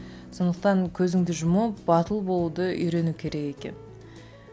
сондықтан көзіңді жұмып батыл болуды үйрену керек екен